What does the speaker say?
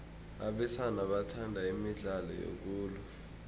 abesana bathanda imidlalo yokulwa